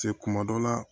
Cɛ kuma dɔ la